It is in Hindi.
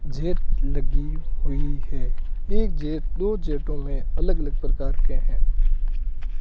जेट लगी हुई है एक जेट दो जेटो में अलग अलग प्रकार के हैं।